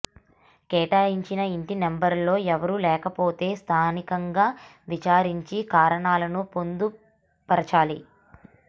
కేటాయించిన ఇంటి నంబర్లో ఎవరూ లేకపోతే స్థానికంగా విచారించి కారణాలను పొందు పర్చాలి